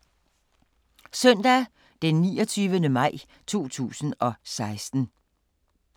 Søndag d. 29. maj 2016